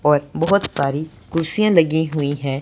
और बहोत सारी कुर्सियां लगी हुई है।